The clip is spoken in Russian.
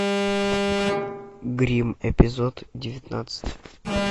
гримм эпизод девятнадцать